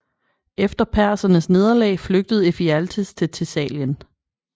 Efter persernes nederlag flygtede Ephialtes til Thessalien